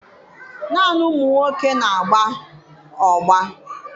Naanị ụmụ nwoke na-agba ọgbọ